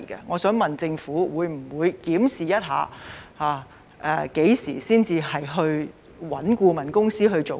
我想問特區政府會否檢視何時才應委聘顧問公司？